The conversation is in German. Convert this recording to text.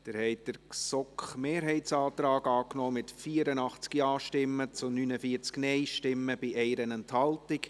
Sie haben den Antrag GSoK-Mehrheit angenommen, mit 84 Ja- gegen 49 Nein-Stimmen bei 1 Enthaltung.